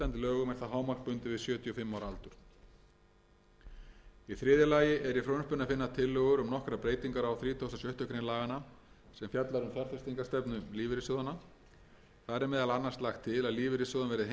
lögum er það hámark bundið við sjötíu og fimm ára aldur í þriðja lagi er í frumvarpinu að finna tillögur um nokkrar breytingar á þrítugasta og sjöttu grein laganna sem fjallar um fjárfestingarstefnu lífeyrissjóðanna þar er meðal annars lagt til að lífeyrissjóðum verði heimilt að fjárfesta fyrir allt